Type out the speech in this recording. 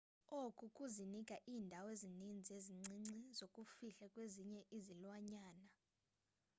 oku kuzinika iindawo ezininzi ezincinci zokuzifihla kwezinye izilwanyana